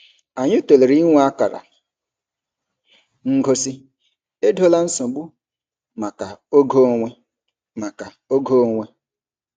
Anyị tụlere inwe akara ngosi "Edola nsogbu" maka oge onwe. maka oge onwe.